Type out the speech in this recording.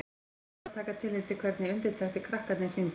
Þeir urðu að taka tillit til hvernig undirtektir krakkarnir sýndu.